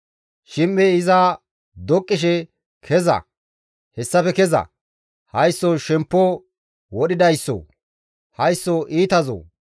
Shim7ey iza doqqishe, «Keza! Hayssafe keza! Haysso shemppo wodhidayssoo! Haysso iitazoo!